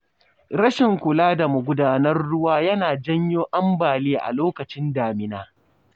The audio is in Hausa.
Rashin kula da magudanan ruwa yana janyo ambaliya a lokacin damina.